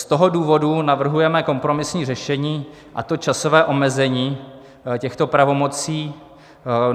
Z toho důvodu navrhujeme kompromisní řešení, a to časové omezení těchto pravomocí.